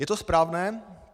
Je to správné?